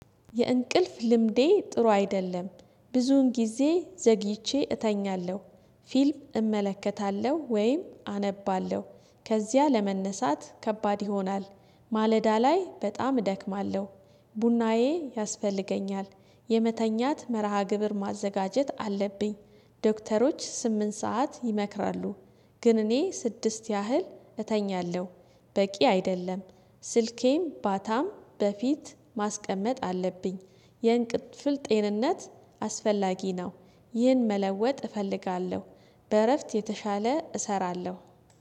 የእንቅልፍ ልምዴ ጥሩ አይደለም ብዙውን ጊዜ ዘግይቼ እተኛለሁ። ፊልም እመለከታለሁ ወይም አነባለሁ ከዚያ ለመነሳት ከባድ ይሆናል። ማለዳ ላይ በጣም እደክማለሁ። ቡናዬ ያስፈልገኛል የመተኛት መርሃ ግብር ማዘጋጀት አለብኝ። ዶክተሮች ስምንት ሰዓት ይመክራሉ። ግን እኔ ስድስት ያህል እተኛለሁ። በቂ አይደለም ስልኬም ባታም በፊት ማስቀመጥ አለብኝ። የእንቅልፍል ጤንነት አስፈላጊ ነው። ይህን መለወጥ እፈልጋለሁ። በእረፍት የተሻለ እሰራለሁ